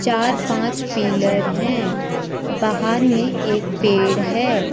पार पांच पिलर है बाहर में एक पेड़ है।